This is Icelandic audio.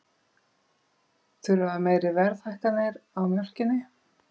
Þurfa meiri verðhækkanir á mjólkinni